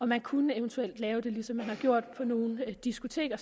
man kunne eventuelt lave det ligesom man har gjort på nogle diskoteker